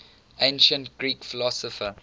ancient greek philosopher